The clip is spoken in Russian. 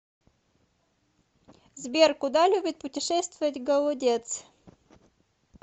сбер куда любит путешествовать голодец